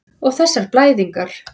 Og þessar blæðingar.